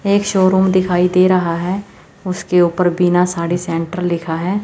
एक शोरूम दिखाई दे रहा है उसके ऊपर बिना साड़ी सेंटर लिखा है।